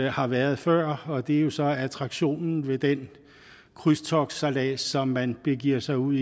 har været før og det er jo så attraktionen ved den krydstogtsejlads som man begiver sig ud